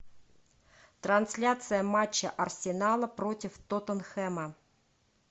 трансляция матча арсенала против тоттенхэма